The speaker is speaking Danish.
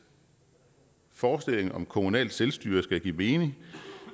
forestillingen om kommunalt selvstyre skal give mening